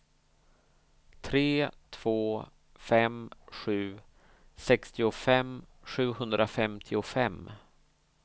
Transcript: tre två fem sju sextiofem sjuhundrafemtiofem